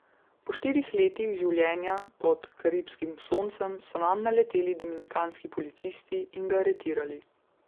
Po štirih letih življenja pod karibskih soncem so nanj naleteli dominikanski policisti in ga aretirali.